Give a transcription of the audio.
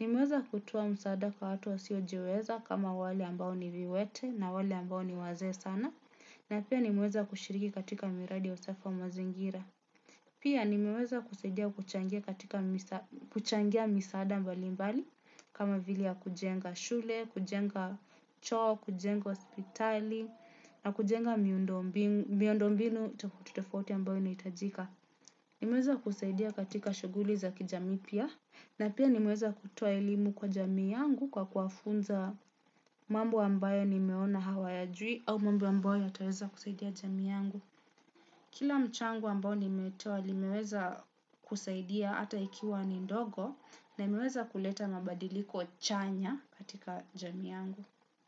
Nimeweza kutoa msaada kwa watu wasio jiweza kama wale ambao ni viwete na wale ambao ni wazee sana. Na pia nimeweza kushiriki katika miradi ya usafi wa mazingira. Pia nimeweza kusaidia kuchangia misaada mbalimbali kama vile ya kujenga shule, kujenga choo, kujenga hospitali na kujenga miundombinu itakututofoti ambao inaitajika. Nimeweza kusaidia katika shuguli za kijamii pia. Na pia nimeweza kutoa elimu kwa jamii yangu kwa kuwafunza mambo ambayo nimeona hawayajui au mambo ambayo yataweza kusaidia jamii yangu. Kila mchango ambao nimetoa nimeweza kusaidia ata ikiwa ni ndogo na imeweza kuleta mabadiliko chanya katika jamii yangu.